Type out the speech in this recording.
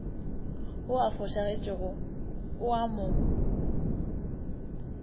wo o fošagetšego o ama